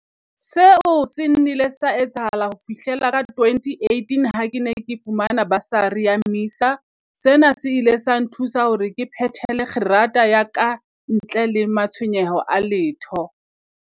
Seo se nnile sa etsahala ho fihlela ka 2018 ha ke ne ke fumana basari ya MISA. Sena se ile sa nthusa hore ke phethele kgerata ya kantle le ma-tshwenyeho a letho.